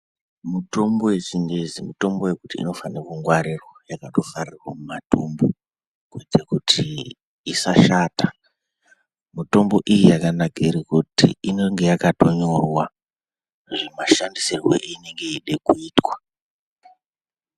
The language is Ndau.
Mitombo yechingezi mitombo yekuti inofanira kungwarirwa yakatovharirwa mumatumbu kuitire kuti isashata. Mitombo iyi yakanakire kuti inenge yakatonyorwa zvemashandisirwe ainonga eida kuitwa.